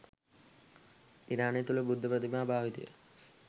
ඉරානය තුළ බුද්ධ ප්‍රතිමා භාවිතය